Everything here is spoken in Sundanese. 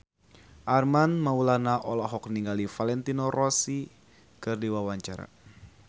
Armand Maulana olohok ningali Valentino Rossi keur diwawancara